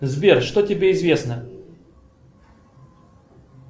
сбер что тебе известно